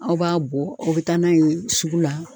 Aw b'a bɔ u bɛ taa n'a ye sugu la.